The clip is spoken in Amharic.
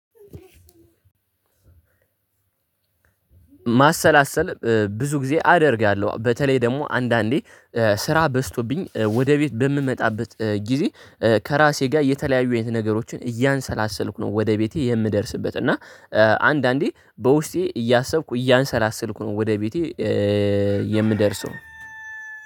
ማሰላሰል ብዙ ጊዜ አደርጋለሁ በተለይ ደግሞ አንዳንዴ ስራ በዝቶብኝ ወደ ቤት በምመጣበት ጊዜ ከራሴ ጋር የተለያዩ አይነት ነገሮችን እያንሰላሰልኩ ነው ወደ ቤቴ የምደርስበት እና አንዳንዴ በውስጤ እያሰብኩ እያንሰላሰልኩ ነው ወደ ቤቴ የምደርሰው።